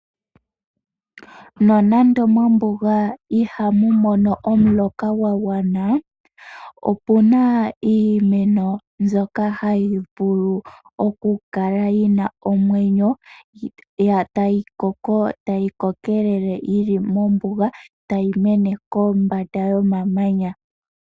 Nonande mombuga ihamu mono omuloka gwagwana opena iimeno ndyoka hayi vulu okukala yina omwenyo, tayi koko tayi kokelele yili mombuga tayi mene kombanda yomamanya.